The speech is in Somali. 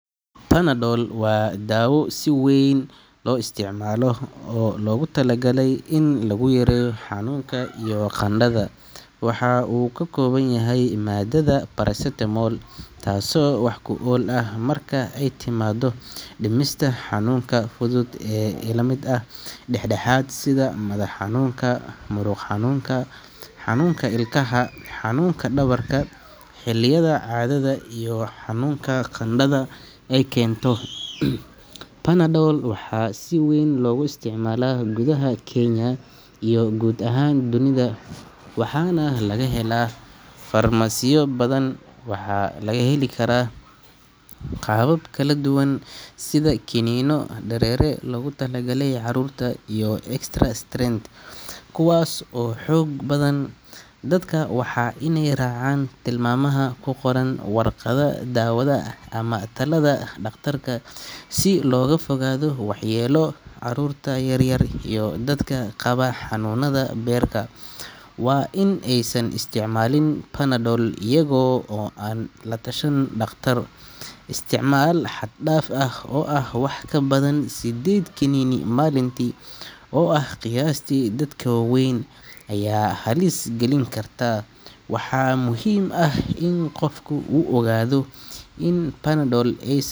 Panadol waa daawo si weyn loo isticmaalo oo loogu talagalay in lagu yareeyo xanuunka iyo qandhada. Waxa uu ka kooban yahay maadada paracetamol taasoo wax ku ool ah marka ay timaado dhimista xanuunka fudud ilaa mid dhexdhexaad ah sida madax xanuunka, muruq xanuunka, xanuunka ilkaha, xanuunka dhabarka, xilliyada caadada iyo xanuunka qandhada ay keento. Panadol waxaa si weyn loogu isticmaalaa gudaha Kenya iyo guud ahaan dunida, waxaana laga helaa farmasiyo badan. Waxaa loo heli karaa qaabab kala duwan sida kiniinno, dareere loogu talagalay carruurta, iyo extra strength kuwaas oo xoog badan. Dadka waa inay raacaan tilmaamaha ku qoran warqadda daawada ama talada dhakhtarka si looga fogaado waxyeelo. Carruurta yar yar iyo dadka qaba xanuunada beerka waa in aysan isticmaalin Panadol iyaga oo aan la tashan dhakhtar. Isticmaal xad-dhaaf ah oo ah wax ka badan siddeed kiniin maalintii oo ah qiyaasta dadka waaweyn ayaa halis gelin karta beerka. Waxaa muhiim ah in qofku uu ogaado in Panadol ays.